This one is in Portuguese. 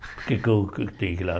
Por que eu que eu tenho que ir lá?